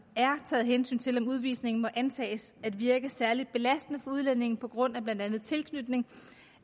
er taget hensyn til om udvisningen må antages at virke særlig belastende for udlændingen på grund af blandt andet tilknytning